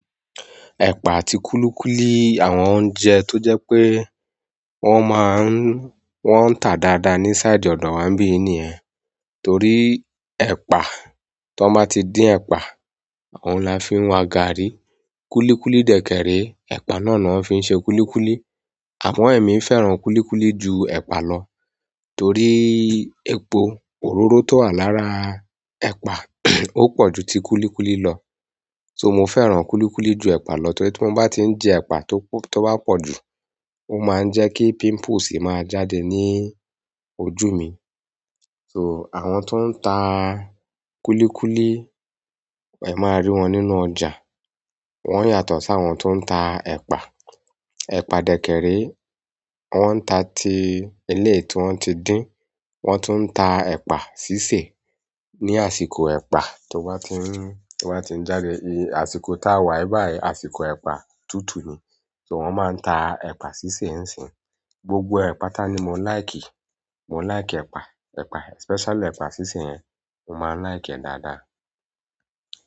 Ẹ̀pà àti kúlíkúlí àwọn oúnjẹ tó jẹ́ pé wọ́n máa ń, wọ́n ń ta dáadáa ní sáidi ọ̀dọ̀ wa n bíi yi niyen. Torí ẹ̀pà, tan ba ti din ẹ̀pà, ọun làá fi ń wa gààrí. Kúlíkúlí dè kèrè, ẹ̀pà náà ni wọ́n fi ń se kúlíkúlí. Àmo emí fẹ́ràn kúlíkúlí ju ẹ̀pa lọ. Torí epo òróró tó wà lára ẹ̀pà ó pọ̀ ju ti kúlíkúlí lọ. "So", mo fẹ́ràn kúlíkúlí ju ẹ̀pà lọ torí tí mo bá ti ń jẹ ẹ̀pà tó bá pọ̀ jù, ó máa ń jẹ́ kí "pimples" máa jáde ní ojú mi. "So", àwọn tó ń ta kúlíkúlí, ẹ máa rí wọn nínú ọjà. Wọ́n yàtọ̀ sáwọn tó ń ta ẹpa. Ẹ̀pà dè kèrè, wọ́n ń ta ti éleyi tí wọ́n ti dín, wọ́n tún ń ta ẹ̀pà sísè. Ni àsìkò ẹ̀pà tó bá ti ń, tó bá ti ń jáde. Àsìkò táa wa báyìí, àsìkò ẹ̀pà tútù ni. "So", wọ́n máa ń ta ẹ̀pà sísè ńsì. Gbogbo ẹ̀ patá ni mo laiki. Mo laiki ẹ̀pà, ẹ̀pà, especially ẹ̀pà síse yẹn, mo máa ń like ẹ̀ dáadáa.